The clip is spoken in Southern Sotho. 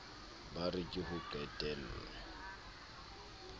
ba re ke ho qetello